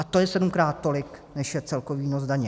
A to je sedmkrát tolik, než je celkový výnos daně.